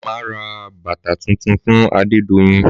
Màmá ra bàtà tuntun fún Adedoyin